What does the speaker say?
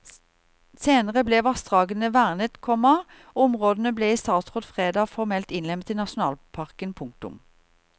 Senere ble vassdragene vernet, komma og områdene ble i statsråd fredag formelt innlemmet i nasjonalparken. punktum